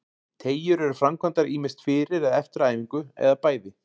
Teygjur eru framkvæmdar ýmist fyrir eða eftir æfingu, eða bæði.